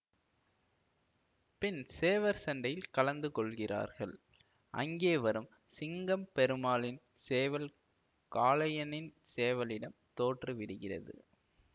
பின் சேவற்சண்டையில் கலந்து கொள்கிறார்கள் அங்கே வரும் சிங்கம் பெருமாளின் சேவல் காளையனின் சேவலிடம் தோற்று விடுகிறது